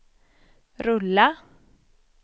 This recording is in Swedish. rulla